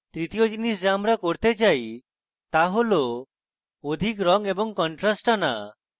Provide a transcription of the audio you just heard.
তৃতীয় জিনিস the আমি করতে চাই the হল অধিক রঙ এবং contrast আনা